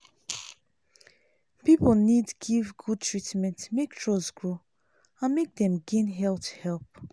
people need give good treatment make trust grow and make dem gain health help.